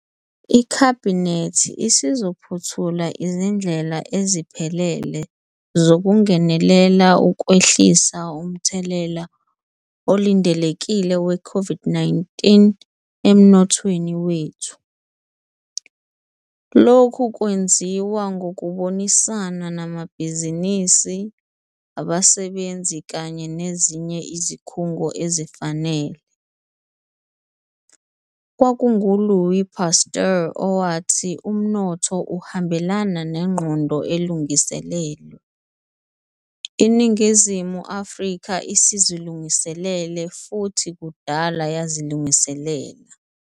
IKhabhinethi isizophothula izindlela eziphelele zokungenelela ukwehlisa umthelela olindelekile we-COVID-19 emnothweni wethu. Lokhu kwenziwa ngokubonisana namabhizinisi, abasebenzi kanye nezinye izikhungo ezifanele. Kwakungu-Louis Pasteur owathi umnotho uhambelana nengqondo elungiselelwe. INingizimu Afrika isizilungiselele, futhi kudala yazilungiselela.